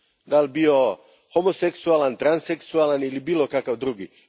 Da li bio homoseksualan, transseksualan ili bilo kakav drugi.